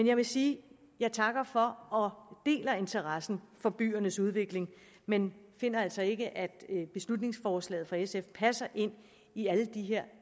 jeg vil sige at jeg takker for og deler interessen for byernes udvikling men finder altså ikke at beslutningsforslaget fra sf passer ind i alle de her